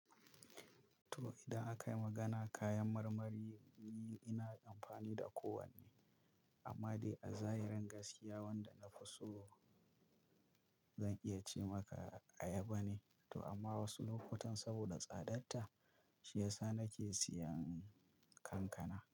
To, idan aka yi magana kayan marmari, ni ina amfani da kowanne. Amma dai a zahirin gaskiya wanda na fi so zan iya ce maka ayaba ne. To amma wasu lokutan saboda tsadatta, shiyasa nake siyan kankana.